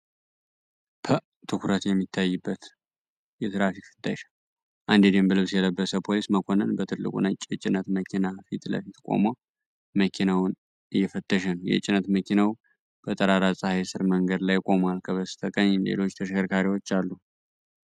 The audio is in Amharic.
ፐ ትኩረት የሚታይበት የትራፊክ ፍተሻ። አንድ የደንብ ልብስ የለበሰ ፖሊስ መኮንን በትልቁ ነጭ የጭነት መኪና ፊት ለፊት ቆሞ መኪናውን እየፈተሸ ነው። የጭነት መኪናው በጠራራ ፀሐይ ስር መንገድ ላይ ቆሟል፤ ከበስተቀኝ ሌሎች ተሽከርካሪዎች አሉ።